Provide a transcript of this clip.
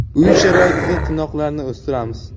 Uy sharoitida tirnoqlarni o‘stiramiz.